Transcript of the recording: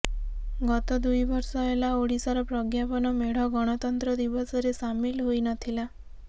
ଗତ ଦୁଇ ବର୍ଷ ହେଲା ଓଡିଶାର ପ୍ରଜ୍ଞାପନ ମେଢ ଗଣତନ୍ତ୍ର ଦିବସରେ ସାମିଲ ହୋଇ ନଥିଲା